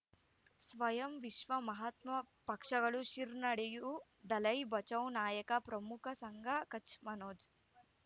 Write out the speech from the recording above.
ಸ್ವಯಂ ವಿಶ್ವ ಮಹಾತ್ಮ ಪಕ್ಷಗಳು ಶಿರ್ ನಡೆಯೂ ದಲೈ ಬಚೌ ನಾಯಕ ಪ್ರಮುಖ ಸಂಘ ಕಚ್ ಮನೋಜ್